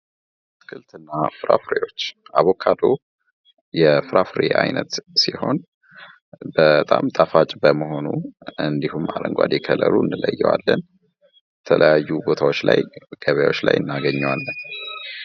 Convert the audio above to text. አትክልት እና ፍራፍሬዎች አቮካዶ የፍራፍሬ አይነት ሲሆን በጣም ጣፋጭ በመሆኑ እንድሁም በአረንጓዴ ከለሩ እንለየዋለን። የተለያዩ ቦታዎች ላይ ገበያወች ላይ እናገኘዋለን።